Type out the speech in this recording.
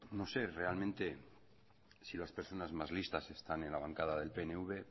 no sé realmente si las personas más listas están en la bancada del pnv